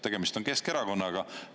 Tegemist on Keskerakonnaga.